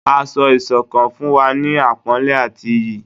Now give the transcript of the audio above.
Ásọ̀-ìsokán fún wa ni àpónlé àti ìyí